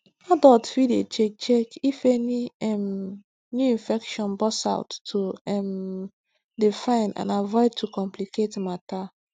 adults fit dey check check if any um new infection burst out to um dey fine and avoid to complicate matter